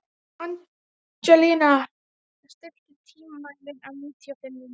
Angelína, stilltu tímamælinn á níutíu og fimm mínútur.